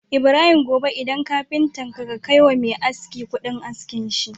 Ibrahim gobe idan kafita ka kai wa Me aski Ƙudin askin shi